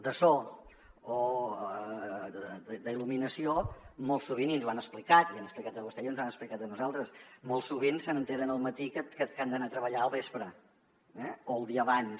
de so o d’il·luminació i ens ho han explicat l’hi han explicat a vostè i ens ho han explicat a nosaltres molt sovint s’assabenten al matí que han d’anar a treballar al vespre eh o el dia abans